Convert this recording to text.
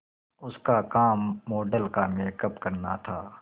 उसका काम मॉडल का मेकअप करना था